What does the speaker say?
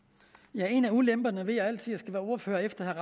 ja en af ulemperne ved altid være ordfører efter